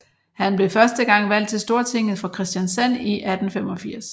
Han blev første gang valgt til Stortinget for Kristiansand i 1885